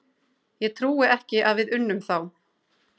Ég trúi ekki að við unnum þá.